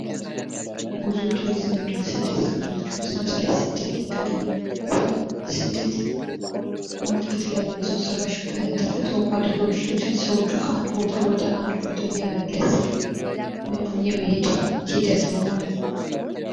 ጉዞ ቱሪዝም እና ስደት ከምንላቸዉ ለምሳሌ ስደትን ብናየዉ ስደት በተለያዩ በሰዉ ሰራሽ ፣ በተፈጥሮ አደጋዎች ሊሆን ይችላል። ሰዎቹ ከአንድ ቦታ ወደ ሌላ ቦታ የመፍለስ ወይም የመሄድ ሂደት ነዉ ማለት ነዉ።